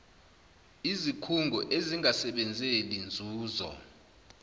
izikhungo ezingasebenzeli nzuzo